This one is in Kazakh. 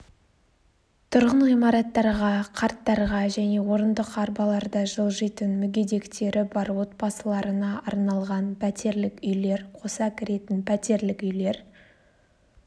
тұрғын ғимараттарға қарттарға және орындық-арбаларда жылжитын мүгедектері бар отбасыларына арналған пәтерлік үйлер қоса кіретін пәтерлік үйлер